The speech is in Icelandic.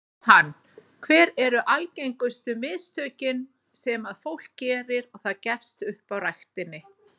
Jóhann: Hver eru algengustu mistökin sem að fólk gerir og það gefst upp á ræktinni?